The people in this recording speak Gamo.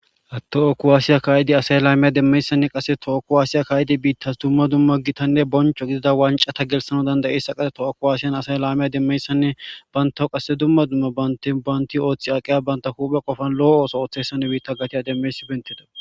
Ha toho kuwasiya ka'idasay laame demmiyayssan asay toho kuwasiya ka'idi biittas dumma dumma gitanne bonchcho gidida wanccata gelisanaw danda'zayssa qasseka toho kuwasen asay lamiya demmiyayssanne bantaw qasse dumma dumma banti aqqiya banta huphe qofa lo'o ooththiyayssanne biitta gatiya demmiyayssi beettides.